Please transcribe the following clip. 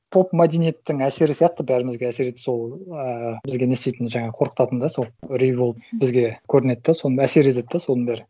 поп мәдениеттің әсері сияқты бәрімізге әсер етті сол ааа бізге не істейтін жаңағы қорқытатын да сол үрей болып бізге көрінеді да сол әсер етеді да соның бәрі